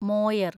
Moyar